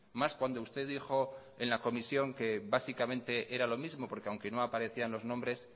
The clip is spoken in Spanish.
más cuando usted dijo en al comisión que básicamente era lo mismo porque aunque no aparecían los nombres